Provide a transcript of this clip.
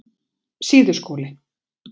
Síðuskóli